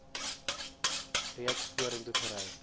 reeds vorentoe gery